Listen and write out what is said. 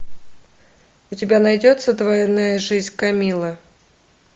у тебя найдется двойная жизнь камиллы